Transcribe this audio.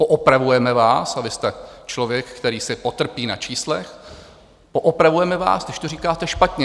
Poopravujeme vás - a vy jste člověk, který si potrpí na čísla - poopravujeme vás, když to říkáte špatně.